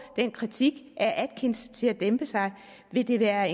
den kritik af atkins til at dæmpe sig vil det være